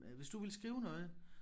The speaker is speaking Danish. Øh hvis du vil skrive noget